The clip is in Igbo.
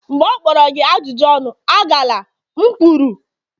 mgbe ọ kpọrọ gị ajụjụ ọnụ, agala m kwuru!